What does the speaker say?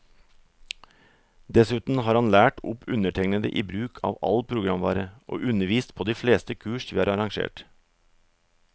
Dessuten har han lært opp undertegnede i bruk av all programvare, og undervist på de fleste kurs vi har arrangert.